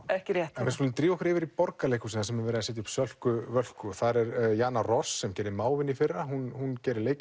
ekki rétt við skulum drífa okkur yfir í Borgarleikhúsið þar sem er verið að setja upp Sölku Völku þar er Jana Ross sem gerði Mávinn í fyrra hún gerir